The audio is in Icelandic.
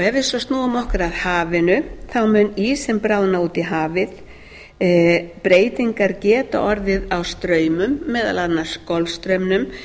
ef við svo snúum okkur að hafinu mun ísinn bráðna út í hafið breytingar geta orðið á straumum meðal annars golfstraumnum